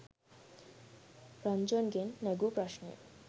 රන්ජන්ගෙන් නැගූ ප්‍රශ්නය